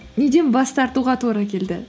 неден бас тартуға тура келді